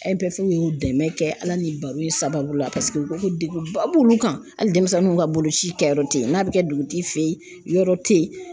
fe ye o dɛmɛ kɛ ala ni baro in sababu la paseke u ko ko degun ba b'olu kan hali denmisɛnninw ka boloci kɛyɔrɔ te yen n'a be kɛ dugutigi fɛ ye yɔrɔ te yen